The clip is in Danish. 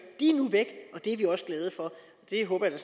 de er nu væk det er vi også glade for og det håber jeg